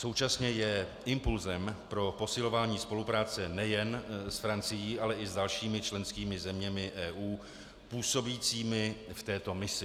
Současně je impulsem pro posilování spolupráce nejen s Francií, ale i s dalšími členskými zeměmi EU působícími v této misi.